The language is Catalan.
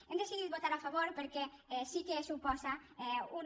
hem decidit votar·hi a favor perquè sí que supo·sa un